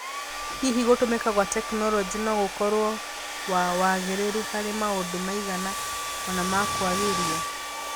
Hihi gũtũmĩka gwa tekinoronjĩ no gũkorwo wa wagĩrĩru harĩ maũndũ maigana ona ma kũagĩria?